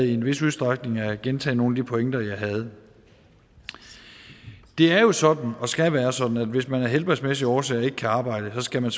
i en vis udstrækning at gentage nogle af de pointer jeg havde det er jo sådan og skal være sådan at hvis man af helbredsmæssige årsager ikke kan arbejde skal man